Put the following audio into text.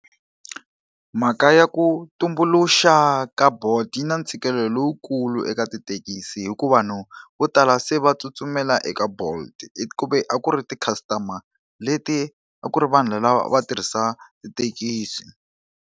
Mhaka ya ku tumbuluxa ka Bolt yi na ntshikelelo lowukulu eka tithekisi hikuva vanhu vo tala se va tsutsumela eka Bolt ku ve a ku ri ti-customer leti a ku ri vanhu lava va tirhisa tithekisi.